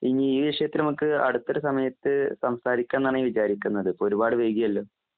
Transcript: ഇനി ഈവിഷയത്തിലമുക്ക് അടുത്തൊരുസമയത്ത് സംസാരിക്കാന്നാണ് ഞാവിചാരിക്കുന്നത് ഇപ്പൊരുപാടുവൈകിയല്ലൊ